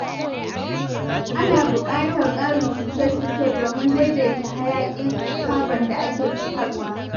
Ana buƙatar ƙarin shuke-shuke domin daidaita hayaƙin carbon da ake fitarwa.